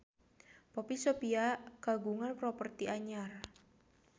Poppy Sovia kagungan properti anyar